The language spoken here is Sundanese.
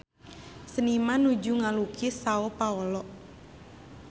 Seniman nuju ngalukis Sao Paolo